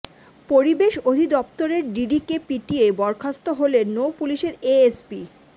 পরিবেশ অধিদপ্তরের ডিডিকে পিটিয়ে বরখাস্ত হলেন নৌ পুলিশের এএসপি